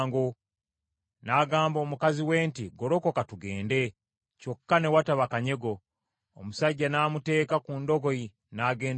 N’agamba mukazi we nti, “Golokoka tugende.” Kyokka ne wataba kanyego. Omusajja n’amuteeka ku ndogoyi, n’agenda ewuwe.